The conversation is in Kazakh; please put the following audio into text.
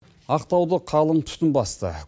ақтауды қалын түтін басты